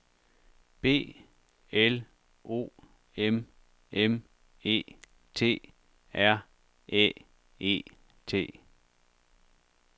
B L O M M E T R Æ E T